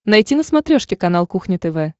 найти на смотрешке канал кухня тв